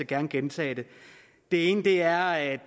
gerne gentage dem det ene er at